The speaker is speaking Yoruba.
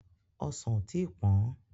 Ọsàn ò tí pọ́n.